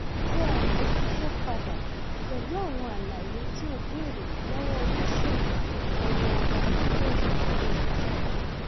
tẹ àtẹjíṣẹ padà pẹlú àwọn àlàyé tí o béèrè lọwọ oníṣègùn awọ ara lórí ayélujára